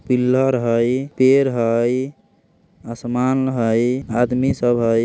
पिल्लर हई पेड़ हई आसमान हई आदमी सब हई।